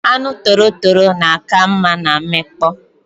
Anu torotoro na aka nma na nmikpo